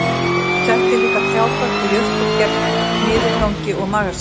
Hann seldi líka trjábörk og jurtir gegn niðurgangi og magasári